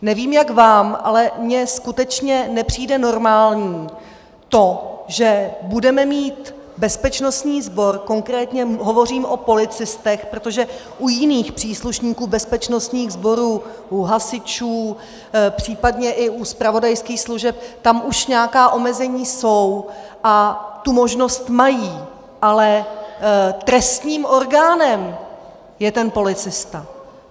Nevím, jak vám, ale mně skutečně nepřijde normální to, že budeme mít bezpečnostní sbor, konkrétně hovořím o policistech, protože u jiných příslušníků bezpečnostních sborů, u hasičů, případně i u zpravodajských služeb, tam už nějaká omezení jsou a tu možnost mají, ale trestním orgánem je ten policista.